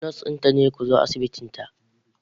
Nurse din ta ce ku zo asibitinta.